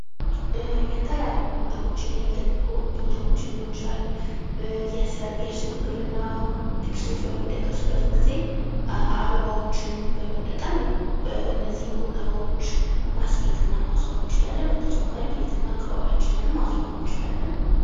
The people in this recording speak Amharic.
የተለያዩ ቦታዎችን የልደት ቦታዎችን ሊሆን ይችላል፤ የሰርግ፣ የሽምግልና ድግሶች በሚደገሱበት ጊዜ አበባዎችን በመጠቀም እነዚህን ቦታዎች ማስጌጥ እና ማስዋብ እንችላለን። በተጨማሪ ቤት እና አካባቢያችንን ማስዋብ እንችላለን።